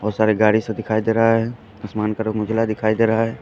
बहुत सारा गाड़ी सब दिखाई दे रहा है असमान का रंग उजला दिखाई दे रहा है।